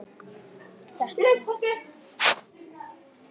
Þetta verð ég að prófa